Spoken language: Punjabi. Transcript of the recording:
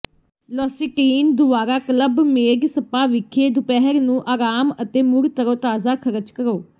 ਲੌਸਿਟੀਨ ਦੁਆਰਾ ਕਲੱਬ ਮੇਡ ਸਪਾ ਵਿਖੇ ਦੁਪਹਿਰ ਨੂੰ ਆਰਾਮ ਅਤੇ ਮੁੜ ਤਰੋਤਾਜ਼ਾ ਖਰਚ ਕਰੋ